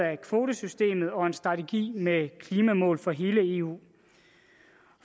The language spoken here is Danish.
af kvotesystemet og en strategi med klimamål for hele eu